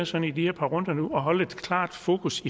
sådan i de her par runder nu at holde et klart fokus